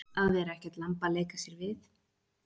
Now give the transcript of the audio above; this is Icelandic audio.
Að vera ekkert lamb að leika sér við